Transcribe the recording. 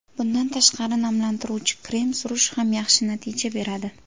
Bundan tashqari, namlantiruvchi krem surish ham yaxshi natija beradi.